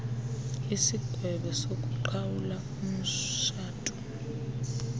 isigwebo sokuqhawula umtshato